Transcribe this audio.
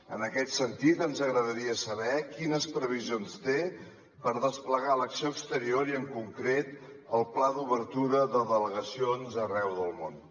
en aquest sentit ens agradaria saber quines previsions té per desplegar l’acció exterior i en concret el pla d’obertura de delegacions arreu del món